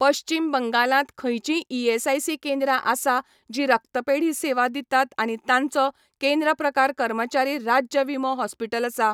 पश्चीम बंगालांत खंयचींय ईएसआयसी केंद्रां आसा जीं रक्त्तपेढी सेवा दितात आनी तांचो केंद्र प्रकार कर्मचारी राज्य विमो हॉस्पिटल आसा?